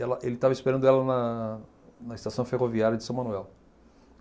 Ela ele estava esperando ela na na estação ferroviária de São Manuel.